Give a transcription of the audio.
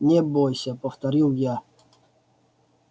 не бойся повторил я